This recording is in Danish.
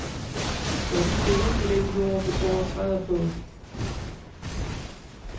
Tør du stole på den jord, du går og træder på.